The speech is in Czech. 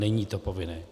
Není to povinné.